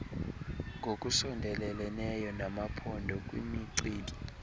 ngokusondeleleneyo namaphondo kwimicibi